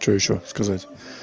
что ещё сказать